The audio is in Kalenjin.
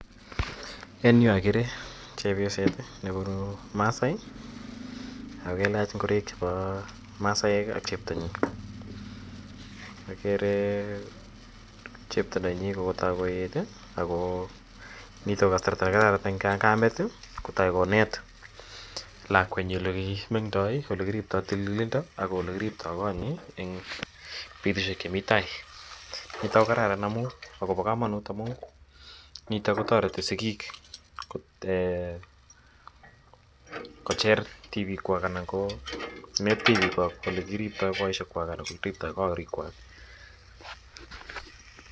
en yuu ogere chepyoseet nebunu masaai ak kalaach ingoroik chebo masaek iih ak cheptonyin um ogeere chepto nenyin kotok koeet iih agoo nitoon koo kasarta negararan en kameet iih kotoi koneet lakweet nyin olegimengdoi olegiriptoo tililindo ak olegiriptoo konyiin en betushek chemii tai niton ko kararan akobo komonut omun nito kotoreti sigiik um eeh kocher tibikkwaak anan koo metiny olegiriptoo boisheek kwaak anan koo olekiriptoo korikwaak